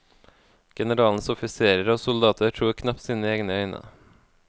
Generalens offiserer og soldater tror knapt sine egne øyne.